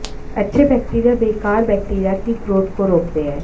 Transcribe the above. अच्छे बैक्टीरिया बेकार बैक्टीरिया की ग्रोथ को रोकते हैं